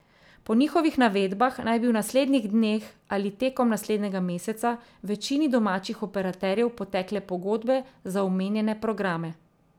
Po njihovih navedbah naj bi v naslednjih dneh ali tekom naslednjega meseca večini domačih operaterjev potekle pogodbe za omenjene programe.